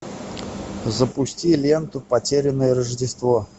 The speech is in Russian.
запусти ленту потерянное рождество